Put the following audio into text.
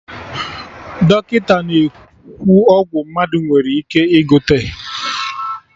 Dọkịta na-ekwu ọgwụ mmadụ nwere ike ị gote